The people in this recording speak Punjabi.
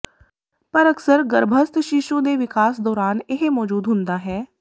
ਪਰ ਅਕਸਰ ਗਰੱਭਸਥ ਸ਼ੀਸ਼ੂ ਦੇ ਵਿਕਾਸ ਦੌਰਾਨ ਇਹ ਮੌਜੂਦ ਹੁੰਦਾ ਹੈ